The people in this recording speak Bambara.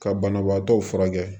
Ka banabaatɔw furakɛ